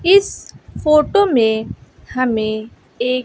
इस फोटो में हमें एक --